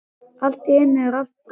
Allt í einu er allt breytt.